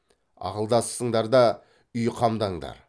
ақылдасысыңдар да үй қамдаңдар